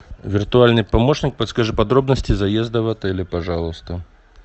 виртуальный помощник подскажи подробности заезда в отели пожалуйста